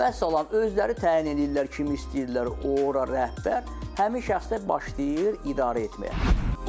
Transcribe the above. Vəssalam, özləri təyin eləyirlər kimi istəyirlər ora rəhbər, həmin şəxs də başlayır idarə etməyə.